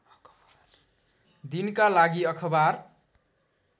दिनका लागि अखबार